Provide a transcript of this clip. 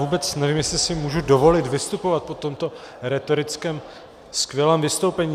Vůbec nevím, jestli si můžu dovolit vystupovat po tomto rétoricky skvělém vystoupení.